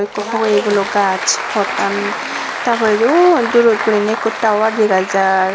ikko hogeye gulo gaaj pottan ta poredi uh durot guriney ikko tawar dega jar.